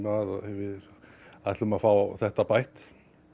við ætlum að fá þetta bætt